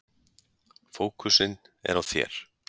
Fókusinn er á þér.